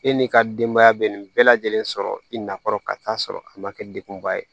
E n'i ka denbaya bɛ nin bɛɛ lajɛlen sɔrɔ i na kɔrɔ ka taa sɔrɔ a ma kɛ degunba ye